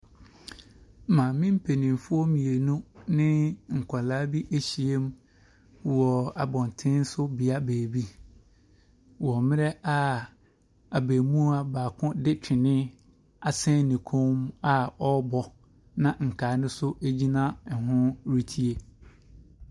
Maame mpanimfoɔ mmienu ne nkwadaa bi ahyiam wɔ abɔnten so beae baabi wɔ mmerɛ a abaamua baako de twene asɛn ne kɔn mu a ɔrebɔ, na nkaeɛ no nso gyina ho retie.